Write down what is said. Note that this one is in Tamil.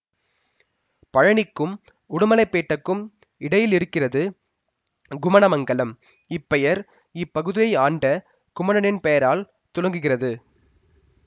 பழநிக்கும் உடுமலப்பேட்டைக்கும் இடையில் இருக்கிறது குமணமங்கலம் இப்பெயர் இப்பகுதியை ஆண்ட குமணனின் பெயரால் துலங்குகிறது